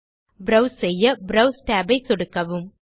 browse செய்ய browse tab ஐ சொடுக்கவும்